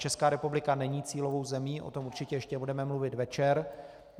Česká republika není cílovou zemí, o tom určitě ještě budeme mluvit večer.